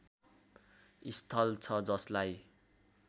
स्थल छ जसलाई